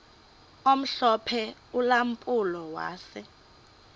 omhlophe ulampulo wase